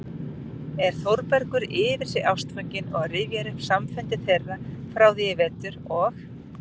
er Þórbergur yfir sig ástfanginn og rifjar upp samfundi þeirra frá því í vetur og